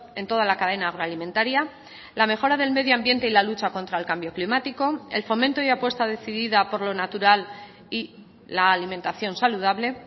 en toda la cadena agroalimentaria la mejora del medioambiente y la lucha contra el cambio climático el fomento y apuesta decidida por lo natural y la alimentación saludable